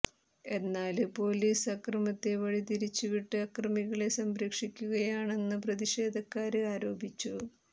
എന്നാല് പൊലീസ് അക്രമത്തെ വഴിതിരിരിച്ച് വിട്ട് അക്രമികളെ സംരക്ഷിക്കുകയാണെന്ന് പ്രതിഷേധക്കാര് ആരോപിച്ചു